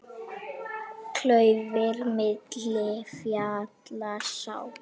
Klaufir milli fjalla sá.